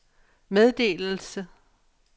meddelelse